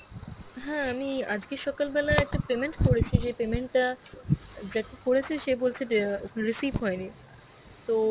হ্যাঁ আমি আজকে সকাল বেলায় একটা payment করেছি. সেই payment টা যাকে করেছে সে বলছে যে~ recieve হয়েনি, তো